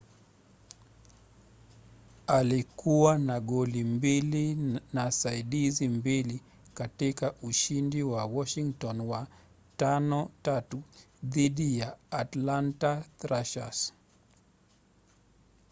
alikuwa na goli mbili na saidizi mbili katika ushindi wa washington wa 5-3 dhidi ya atlanta thrashers